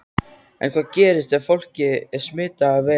En hvað gerist ef fólkið er smitað af veirunni?